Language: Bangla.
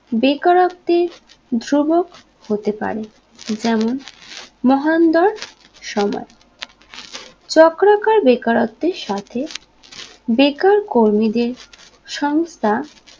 বেকারত্বের ধ্রুবক হতে পারে যেমন মহানন্দার সময় চক্রাকার বেকারত্বের সাথে বেকার কর্মীদের সংস্থা